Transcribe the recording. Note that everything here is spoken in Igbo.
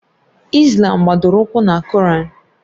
Islàm gbadoro ụkwụ na koraan